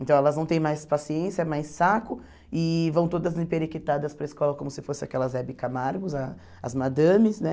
Então, elas não têm mais paciência, mais saco e vão todas emperequitadas para a escola como se fossem aquelas Hebe Camargos, a as madames, né?